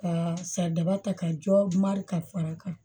Ka saridadaba ta ka jɔ mari ka fara kan